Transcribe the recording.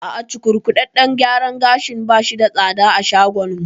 A'a, cukurkuɗaɗɗen gyaran gashin bashi da tsada a shagon mu